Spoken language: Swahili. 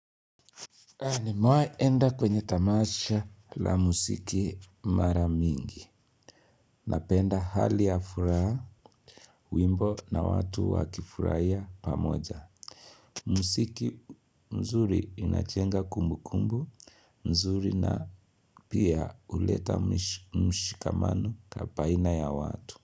Nimewahi enda kwenye tamasha la muziki mara mingi. Napenda hali ya furaha wimbo na watu wakifurahia pamoja. Muziki mzuri inachenga kumbukumbu, mzuri na pia huleta mshikamano baina ya watu.